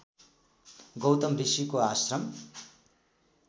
गौतम ऋषिको आश्रम